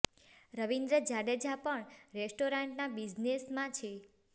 રવીન્દ્ર જાડેજા પણ રેસ્ટોરાંટ ના બિઝનેસ માં છે